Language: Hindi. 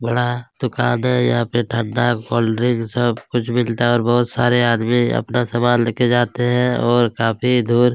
बड़ा दुकान है यहाँ पे ठंडा कोल्ड्रिंक सब कुछ मिलता है और बहोत सारे आदमी अपना लेके जाते हैं और काफ़ी दूर--